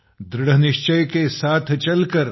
दृढ निश्चय के साथ चलकर